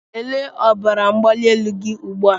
Lelee ọbara mgbali elu gị ugbu a!